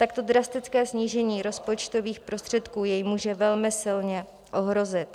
Takto drastické snížení rozpočtových prostředků jej může velmi silně ohrozit.